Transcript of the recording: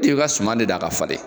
T'e ka suma de da a ka fale